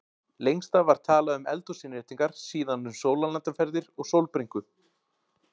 Lengst af var talað um eldhúsinnréttingar, síðan um sólarlandaferðir og sólbrúnku.